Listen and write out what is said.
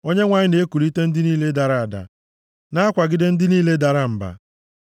Onyenwe anyị na-ekulite ndị niile dara ada na-akwagide ndị niile dara mba.